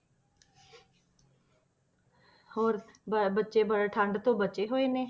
ਹੋਰ ਬ~ ਬੱਚੇ ਵੱਡੇ ਠੰਢ ਤੋਂ ਬਚੇ ਹੋਏ ਨੇ?